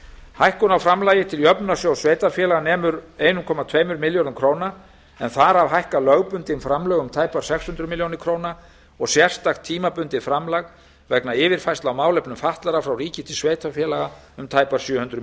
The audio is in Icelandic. hækkun á framlagi til jöfnunarsjóðs sveitarfélaga nemur um einn komma tveimur milljörðum króna en þar af hækka lögbundin framlög um tæpar sex hundruð milljóna króna og sérstakt tímabundið framlag vegna yfirfærslu á málefnum fatlaðra frá ríki til sveitarfélaga um tæpar sjö hundruð milljóna